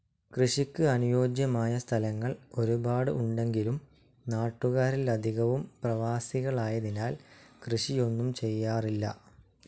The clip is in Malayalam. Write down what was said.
കൃഷിക്ക് അനുയോജ്യമായ സ്ഥലങ്ങൾ ഒരുപാട് ഉണ്ടെങ്കിലും നാട്ടുകാരിൽ അധികവും പ്രവാസികളായതിനാൽ കൃഷിയൊന്നും ചെയ്യാറില്ല.